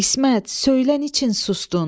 İsmət, söylə niçin sustun?